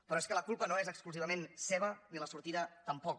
però és que la culpa no és exclusivament seva ni la sortida tampoc